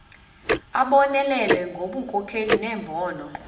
abonelele ngobunkokheli nembono